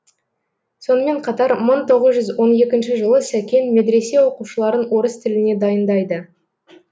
сонымен қатар мың тоғыз жүүз он екінші жылы сәкен медресе оқушыларын орыс тіліне дайындайды